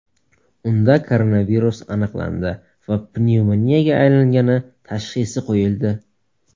Unda koronavirus aniqlandi va pnevmoniyaga aylangani tashxisi qo‘yildi.